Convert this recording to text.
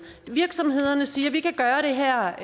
virksomhederne siger vi kan gøre det her